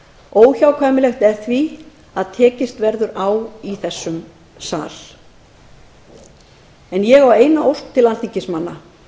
óhjákvæmilegt er því að tekist verði á í þingsal en ég ber upp eina ósk til alþingismanna